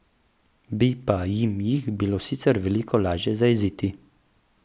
Bi pa jim jih bilo sicer veliko lažje zajeziti.